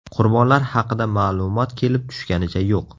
Qurbonlar haqida ma’lumot kelib tushganicha yo‘q.